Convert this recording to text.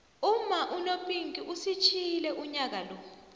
umma unopinkie usitjiyile unyaka lo